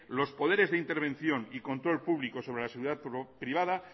los poderes de intervención y control público sobre la seguridad privada